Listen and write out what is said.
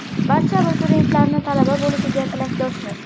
Barcha abituriyentlarni talaba bo‘lishiga tilakdoshmiz!